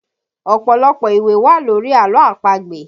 Ọpọlọpọ ìwé wà lórí àlọ́ àpagbè